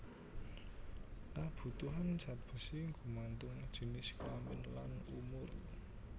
Kabutuhan zat besi gumantung jinis kelamin lan umur